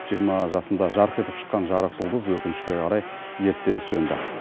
жиырма жасында жарқ етіп шыққан жарық жұлдыз өкінішке қарай ерте сөнді